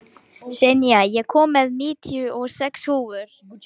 Senía, ég kom með níutíu og sex húfur!